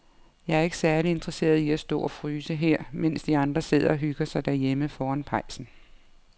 Jeg er ikke særlig interesseret i at stå og fryse her, mens de andre sidder og hygger sig derhjemme foran pejsen.